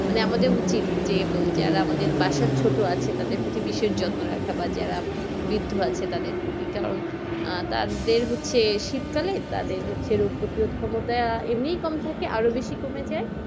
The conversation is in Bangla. মানে আমাদের উচিত যে যারা আমাদের বাসার ছোট আছে তাদের প্রতি বিশেষ যত্ন রাখা বা যারা বৃদ্ধ আছে তাদের প্রতি কারন আহ তাদের হচ্ছে শীতকালে তাদের হচ্ছে রোগ প্রতিরোধ ক্ষমতা এমনি কম থাকে আরো বেশি করে যায়।